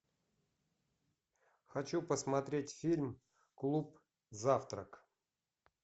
хочу посмотреть фильм клуб завтрак